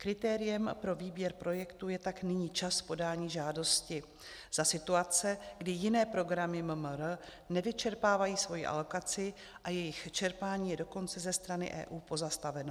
Kritériem pro výběr projektů je tak nyní čas podání žádosti za situace, kdy jiné programy MMR nevyčerpávají svoji alokaci a jejich čerpání je dokonce ze strany EU pozastaveno.